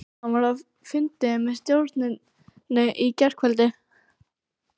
Hann var á fundi með stjórninni í gærkvöldi.